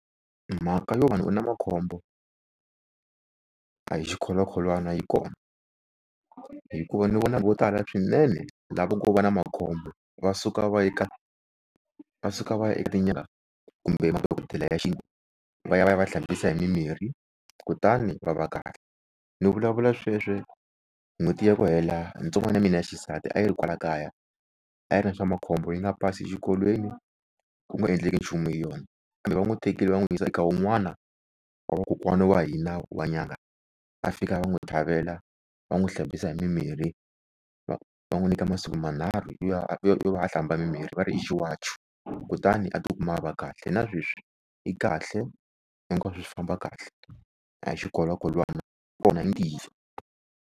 Mhaka yo munhu u na makhombo a hi xikholwakholwana yi kona, hikuva ni vona vo tala swinene lava ngo va na makhombo, va suka va ya eka va suka va ya eka kumbe dokodela ya xintu va ya va ya va hlambisa hi mimirhi kutani va va kahle. Ni vulavula sweswo n'hweti ya ku hela ntsongwana ya mina ya xisati a yi ri kwala kaya a yi ri na swa makhombo yi nga pasi exikolweni ku nga endleki nchumu hi yona. Kambe va n'wi tekile va n'wi yisa eka wun'wana wa vakokwana wa hina wa nyanga, a fika va n'wi tlhavela, va n'wi hlambisa hi mimirhi va va n'wi nyika masiku manharhu ya yo va a hlamba mimirhi va ri i xiwacho. Kutani a ti kuma a va kahle na sweswi i kahle hinkwaswo swi famba kahle a hi xikholwakholwana kona nge yisi.